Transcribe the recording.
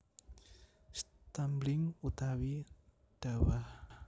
Stumbling utawi dawah